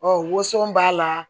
Ɔ woso b'a la